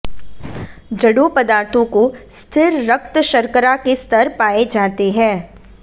जड़ों पदार्थों को स्थिर रक्त शर्करा के स्तर पाए जाते हैं